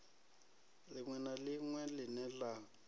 ḽiṅwe na ḽiṅwe ḽine ḽa